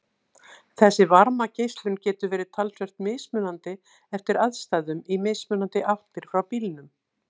Þessi varmageislun getur verið talsvert mismunandi eftir aðstæðum í mismunandi áttir frá bílnum.